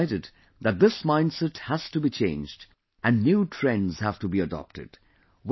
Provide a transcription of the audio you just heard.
We decided that this mindset has to be changed and new trends have to be adopted